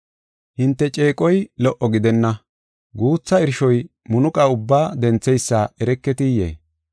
Hinte ceeqoy lo77o gidenna. Guutha irshoy munuqa ubba dentheysa ereketiyee?